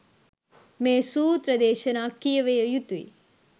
මේ සූත්‍ර දේශනා කියැවිය යුතුය.